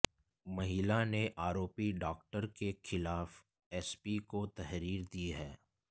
महिला ने आरोपी डॉक्टर के खिलाफ एसपी को तहरीर दी है